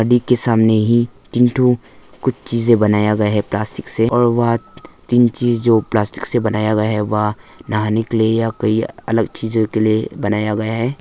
एक के सामने ही कुछ चीजें बनाया गया है प्लास्टिक से और वहां तीन चीज जो प्लास्टिक से बनाया गया है वह नहाने के लिए या कोई अलग चीजों के लिए बनाया गया है।